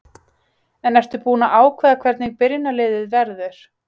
Ertu búinn að ákveða hvernig byrjunarliðið verður?